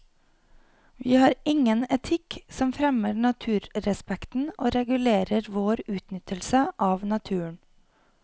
Vi har ingen etikk som fremmer naturrespekten og regulerer vår utnyttelse av naturen.